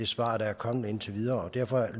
svar der er kommet indtil videre og derfor